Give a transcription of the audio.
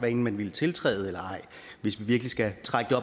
enten man ville tiltræde eller ej hvis vi virkelig skal trække